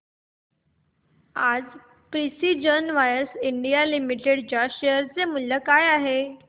आज precision wires India limited च्या share चे मूल्य काय आहे